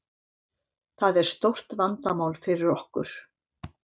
Það er stórt vandamál fyrir okkur.